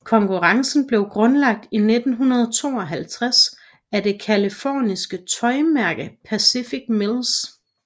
Konkurrencen blev grundlagt i 1952 af det californske tøjmærke Pacific Mills